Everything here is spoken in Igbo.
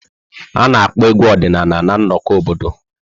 A na-akpọ egwu ọdịnala na nnọkọ obodo.